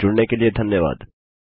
हमसे जुड़ने के लिए धन्यवाद